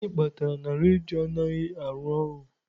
Gịnị kpatara na redio anaghị arụ ọrụ?